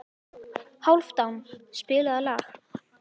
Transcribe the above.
Hálfdán, spilaðu lag.